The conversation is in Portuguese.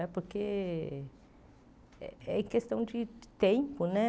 É porque é é questão de tempo, né?